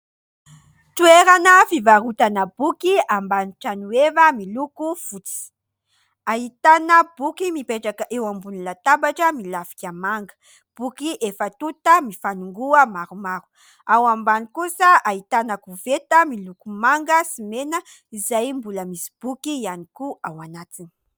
Toerana fivarotana boky ambany trano eva miloko fotsy. Ahitana boky mipetraka eo ambony latabatra milafika manga. Boky efa tonta mifanongoa maromaro, ao ambany kosa ahitana koveta miloko manga sy mena izay mbola misy boky ihany koa ao anatiny.